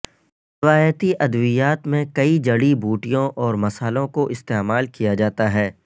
روایتی ادویات میں کئی جڑی بوٹیوں اور مصالوں کو استعمال کیا جاتا ہے